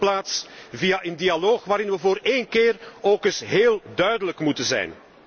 In de eerste plaats via een dialoog, waarin wij voor één keer ook eens heel duidelijk moeten zijn.